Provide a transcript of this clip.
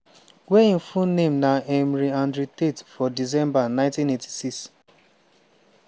wey im full name na emory andrew tate for december 1986.